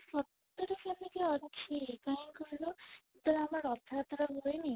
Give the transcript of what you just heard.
ସତରେ ସେମିତି ଅଛି କାଇଁ କହିଲ ଯେତେବେଳେ ଆମର ରଥଯାତ୍ରା ହୁଏନି